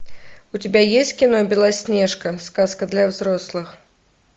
у тебя есть кино белоснежка сказка для взрослых